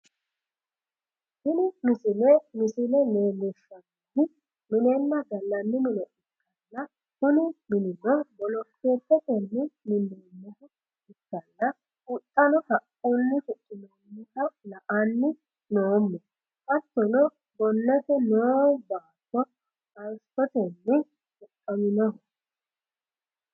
tini misile misile leellishshannohu minenna gallanni mine ikkanna, kuni minino bolokeetetenni minoonniha ikkanna, huxxano haqqunni huxxinoonniha la'anni noommo, hattono gonnete noo baatto hayiisotenni huxxaminoho.